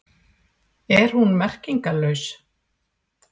Er hún merkingarlaus?